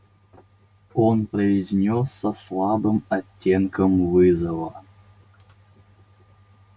он произнёс со слабым оттенком вызова